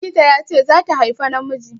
Likita ya ce zata haifa namiji.